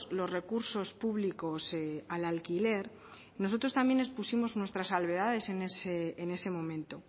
los recursos públicos al alquiler nosotros también expusimos nuestras salvedades en ese momento